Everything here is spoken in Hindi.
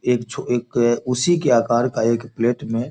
एक छो एक उसी के आकर का एक प्लेट में --